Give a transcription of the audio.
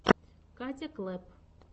катя клэпп